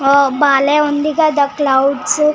ఓ బాలే ఉంది కదా క్లౌడ్స్